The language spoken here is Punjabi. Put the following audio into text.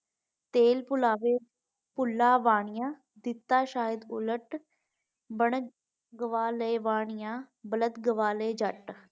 ਤੇਲ ਪੁਲਾਵੇ ਪੁੱਲਾਵਾਨੀਆਂ ਦਿੱਤਾ ਸ਼ਇਦ ਉਲਟ ਬਣ ਗਵਾਲੇ ਵਾਣੀਆਂ ਬਲਤ ਗਵਾਲੇ ਜੱਟ।